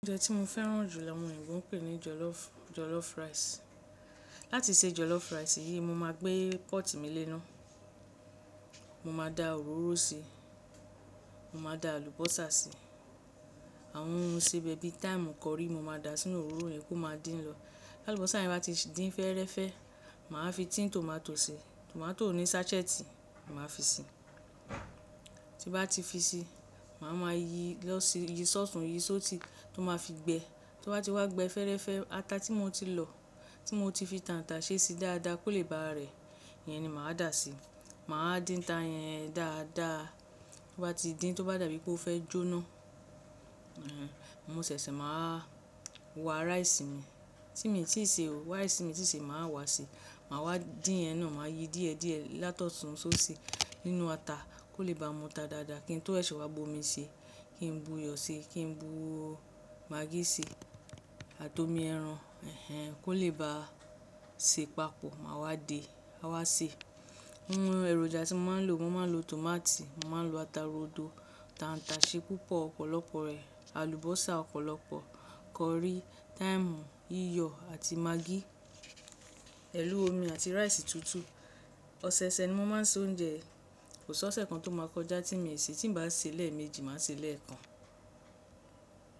Oúnjẹ tí mo fẹ́ràn jù làwọn eyinbo ń pè ní jollof, jollof rice. Láti se jollof rice yìí mo máa gbé pọ́ọ̀tì mi léná, mo máa da òróró síi, mo máa da àlùbọ́sà síi, àwọn ohun isebẹ bi thyme, curry mo máa da sínú òróró yẹn kó máa dín lọ. Àlùbọ́sà yẹn bá ti din fẹ́ẹ́rẹ́fẹ́, màá fi tin tomato si, tomato ní sácẹ́ẹ̀tì màá fi ṣí i. Tin ba ti fi si, maa wa ma yìí lọ yìí s'ọtun yìí s'osi to maa fi gbẹ tí ó bá ti wá gbẹ fẹ́ẹ́rẹ́fẹ́, ata tí mo ti lọ, tí mo ti fi tàǹtàṣẹ́ ṣe dáadáa kó lè ba rẹ̀, iyẹn ni màá dà á sí. Màá dín ta yẹn dáadáa, tí ó bá ti dín, tí ó bá dàbí pé ó fẹ́ jóná, mo ṣẹ̀ṣẹ̀ máa wá rice mi tí mi ò tíì se o. Rice mi tí ì se màá wá si. Màá wá dín iyẹn náà, màá yí díẹ̀díẹ̀ látọ̀ṣun s'osi nínú ata kó lè ba mu ta dáadáa, kí n tó ṣẹ̀ṣẹ wá bu omi si, kí n bu iyọ̀ si, kí n bu Magi si àti omi ẹran ẹnẹn, ko le baa se papọ̀. Màá wá de, a wá se. Àwọn èròjà tí mo máa ń lò, mo máa ń lo tòmátì, mo máa ń lo ata rodo, tàǹtàṣẹ́ púpọ̀ ọ̀pọ̀lọpọ̀ rẹ̀, àlùbọ́sà ọ̀pọ̀lọpọ̀, curry, thyme, iyọ̀ àti maggi, pẹ̀lú omi àti rice tutu. Ọsẹ-ọsẹ ni mo máa ń sè oúnjẹ, kò sí ọ̀sẹ̀ kan tó máa kọjá tí mi ò se, tí n bá ṣe lẹ́ẹ̀méjì, màá se lẹ́ẹ̀kan.